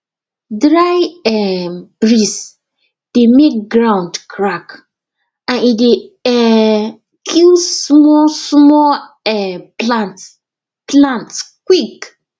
dry um breeze dey make ground crack and e dey um kill small small um plants plants quick